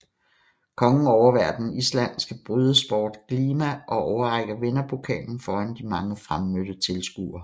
Kongen overværer den islandske brydesport glima og overrækker vinderpokalen foran de mange fremmødte tilskuere